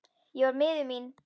Ég var miður mín.